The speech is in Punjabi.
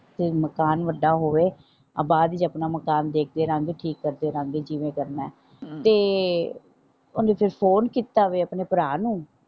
ਫੇਰ ਮਕਾਨ ਵੱਡਾ ਹੋਵੇ ਬਾਅਦ ਚ ਆਪਣਾ ਮਕਾਨ ਦੇਖਦੇ ਰਹਾਂਗੇ ਠੀਕ ਕਰਦੇ ਰਹਾਂਗੇ ਕਿਵੇਂ ਕਰਨਾ ਹੈ ਅਮ ਤੇ ਓਹਨੇ ਫੇਰ ਫੋਨ ਕੀਤਾ ਫੇਰ ਆਪਣੇ ਭਰਾ ਨੂੰ।